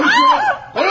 Konuş diyorum!